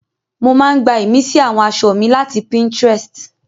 Mo máa ń gbá ìmísí àwọn aṣọ mi láti Pinterest